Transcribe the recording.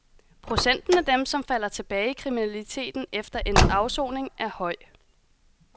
Procenten af dem, som falder tilbage i kriminaliteten efter endt afsoning, er høj.